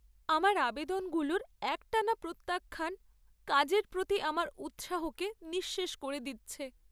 আমার আবেদনগুলোর একটানা প্রত্যাখ্যান কাজের প্রতি আমার উৎসাহকে নিঃশেষ করে দিচ্ছে।